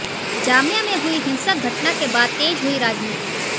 जामिया में हुई हिंसक घटना के बाद तेज हुई राजनीति